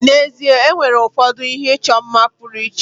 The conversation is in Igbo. N'ezie, e nwere ụfọdụ ihe ịchọ mma pụrụ iche.